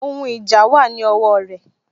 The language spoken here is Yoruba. Ohun ìjà wà ní ọwọ rẹ